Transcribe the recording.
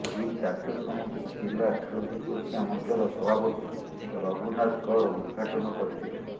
ଏହି କାର୍ଯ୍ୟକ୍ରମକୁ ଜିଲା ଖାଉଟୀ ସୁରକ୍ଷା ମଂଚର ସଭାପତି ରଘୁନାଥ କର ଉଦଘାଟନ କରିଥିଲେ